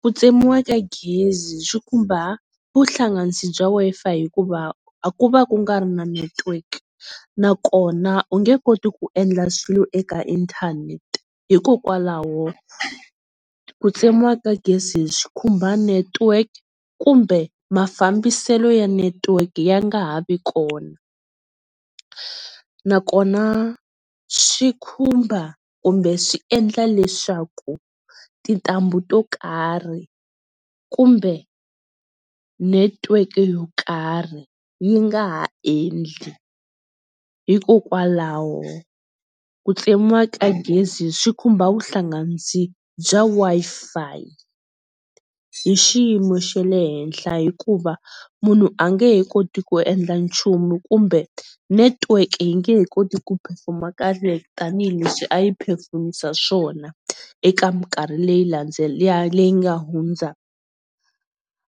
Ku tsemiwa ka gezi swi khumba vuhlanganisi bya Wi-Fi hikuva ku va ku nga ri na network nakona u nge koti ku endla swilo eka inthanete hikokwalaho ku tsemiwa ka gezi swi khumba network kumbe mafambiselo ya network ya nga ha vi kona nakona swi khumba kumbe swi endla leswaku tintambu to karhi kumbe netiweke yo karhi yi nga ha endli hikokwalaho ku tsemiwa ka gezi swi khumba vuhlanganisi bya Wi-Fi hi xiyimo xa le henhla hikuva munhu a nge he koti ku endla nchumu kumbe network yi nge he koti ku perform-a kahle tanihileswi a yi perform-isa swona eka mikarhi leyi leyi nga hundza